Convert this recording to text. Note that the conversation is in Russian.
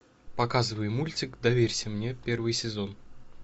показывай мультик доверься мне первый сезон